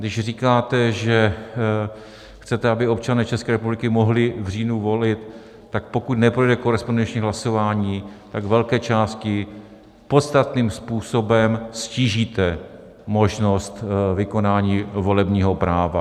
Když říkáte, že chcete, aby občané České republiky mohli v říjnu volit, tak pokud neprojde korespondenční hlasování, tak velké části podstatným způsobem ztížíte možnost vykonání volebního práva.